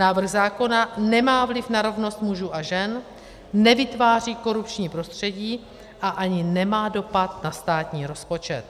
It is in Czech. Návrh zákona nemá vliv na rovnost mužů a žen, nevytváří korupční prostředí a ani nemá dopad na státní rozpočet.